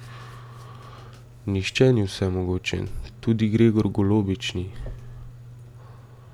Nihče ni vsemogočen, tudi Gregor Golobič ni.